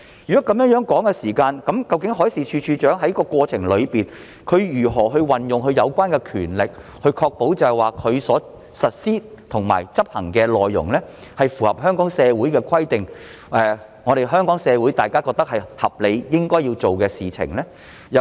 如果是這樣的話，海事處處長在過程中如何運用有關的權力，確保他所實施和執行的內容符合香港社會的規定，是香港社會大眾覺得合理、應當做的事情呢？